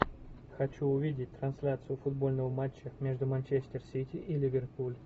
хочу увидеть трансляцию футбольного матча между манчестер сити и ливерпуль